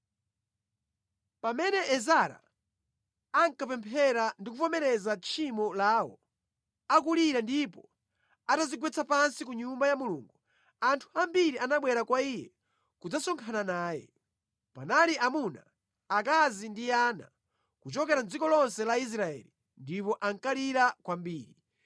Pamene Ezara ankapemphera ndi kuvomereza tchimo lawo, akulira ndipo atadzigwetsa pansi ku Nyumba ya Mulungu, anthu ambiri anabwera kwa iye kudzasonkhana naye. Panali amuna, akazi ndi ana, kuchokera mʼdziko lonse la Israeli ndipo ankalira kwambiri.